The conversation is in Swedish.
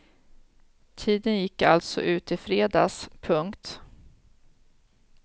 Tiden gick alltså ut i fredags. punkt